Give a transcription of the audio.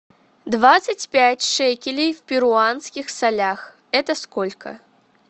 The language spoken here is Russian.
двадцать пять шекелей в перуанских солях это сколько